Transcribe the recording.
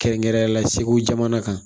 Kɛrɛnkɛrɛnnenya la segu jamana kan